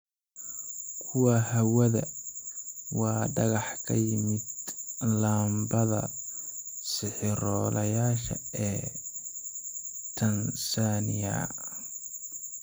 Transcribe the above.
Kuwa hawadha: Waa dhagax ka yimid laambadda 'sixirola yasha' ee Tansaaniya